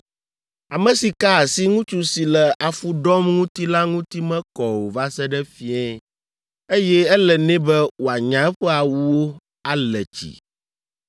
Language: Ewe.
“ ‘Ame si ka asi ŋutsu si le afu ɖɔm ŋuti la ŋuti mekɔ o va se ɖe fiẽ, eye ele nɛ be wòanya eƒe awuwo, ale tsi.